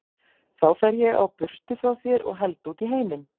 Þá fer ég á burtu frá þér og held út í heiminn.